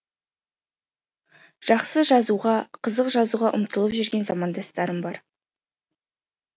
жақсы жазуға қызық жазуға ұмтылып жүрген замандастарым бар